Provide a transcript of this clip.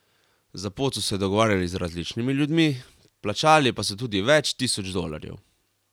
Za pot so se dogovarjali z različnimi ljudmi, plačali pa so tudi več tisoč dolarjev.